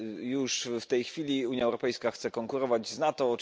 Już w tej chwili Unia Europejska chce konkurować z NATO.